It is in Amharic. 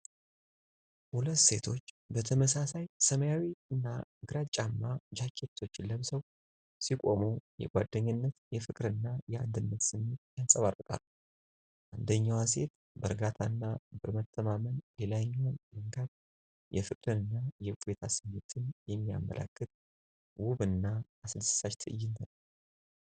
ሁለቱ ሴቶች ተመሳሳይ ሰማያዊና ግራጫማ ጃኬቶችን ለብሰው ሲቆሙ የጓደኝነት ፍቅርና የአንድነት ስሜት ያንጸባርቃሉ። አንደኛዋ ሴት በእርጋታና በመተማመን ሌላኛዋን መንካት የፍቅርና የእፎይታ ስሜትን የሚያመላክት ውብና አስደሳች ትዕይንት ነው።